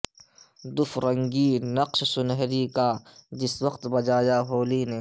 دف رنگیں نقش سنہری کا جس وقت بجایا ہولی نے